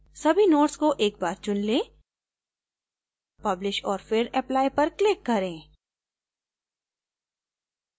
सभी nodes को एक बार चुन लें publish औऱ फिर apply पर click करें